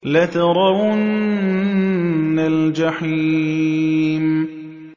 لَتَرَوُنَّ الْجَحِيمَ